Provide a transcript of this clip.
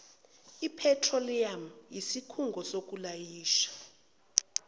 ephethroliyamu isikhungo sokulayisha